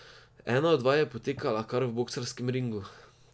Ena od vaj je potekala kar v boksarskem ringu.